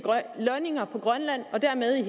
lønninger på grønland og dermed i